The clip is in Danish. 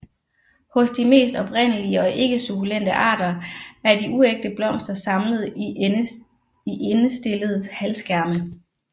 Hos de mest oprindelige og ikke sukkulente arter er de uægte blomster samlet i endestillede halvskærme